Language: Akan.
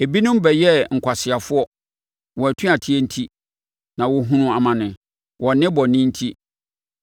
Ebinom bɛyɛɛ nkwaseafoɔ, wɔn atuateɛ enti na wɔhunuu amane, wɔn nnebɔne enti.